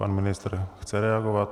Pan ministr chce reagovat.